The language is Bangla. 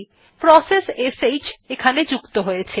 প্রসেস শ্ যুক্ত হয়েছে